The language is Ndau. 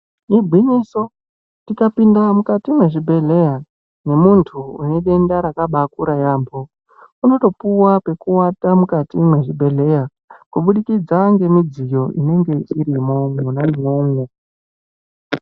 Igwinyiso, tikapinda mukati mwezvibhehleya nemuntu une denda rakabaakura yaamho, unotopuwa pekuwata mukati mwezvibhehleya kubudikidza ngemudziyo inenge irimo mwona imwomwo.